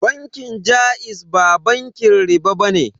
Bankin jaiz ba bankin riɓa bane.